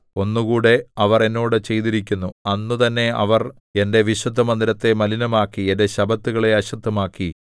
ഒന്നുകൂടെ അവർ എന്നോട് ചെയ്തിരിക്കുന്നു അന്ന് തന്നെ അവർ എന്റെ വിശുദ്ധമന്ദിരത്തെ മലിനമാക്കി എന്റെ ശബ്ബത്തുകളെ അശുദ്ധമാക്കി